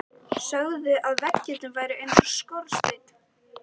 Sögðu að veggirnir væru eins og skorsteinn.